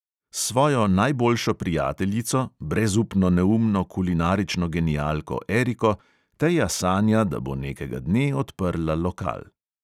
S svojo najboljšo prijateljico, brezupno neumno kulinarično genialko eriko, teja sanja, da bo nekega dne odprla lokal.